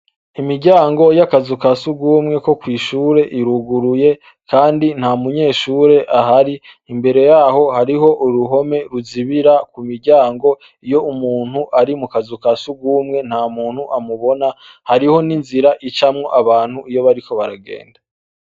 Imiryango y'akazu ka surwumwe ko kw'ishure iruguruye kandi nta munyeshure ahari, imbere yaho hariho uruhome ruzibira ku miryango iyo umuntu ari mu kazu ka surwumwe nta muntu amubona hariho n'inzira icamwo abantu iyo bariko baragenda.